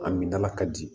A min dala ka di